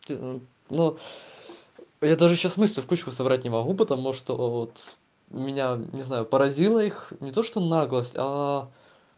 ты ну я даже сейчас мысли в кучку собрать не могу потому что вот меня не знаю поразила их не то что наглость